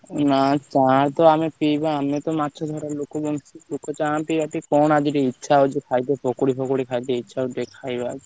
ନାଁ ଚା ତ ଆମେ ପିବା ଆମେ ତ କଣ ଆଦହରୁ ଇଛା ହଉଛି ଖିଆବ ଖାଲି ପକୁଡି ଫକୁଡି ଖାଇବା କୁ ଇଛା ହଉଛି ଟିକେ ଖାଇବା।